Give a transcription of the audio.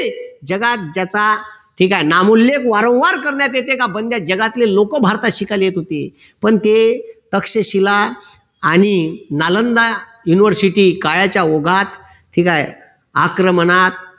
जगात ज्याचा ठीक आहे नामूल्य वारंवार करण्यात येते का जगातले लोक भारतात शिकायला येत होते पण ते तक्षशिला आणि नालंदा university काळाच्या ओघात ठीक आहे आक्रमणात